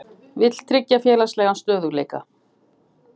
Vill tryggja félagslegan stöðugleika